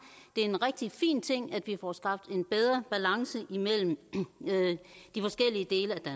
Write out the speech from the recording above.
er en rigtig fin ting at vi får skabt en bedre balance mellem de forskellige dele af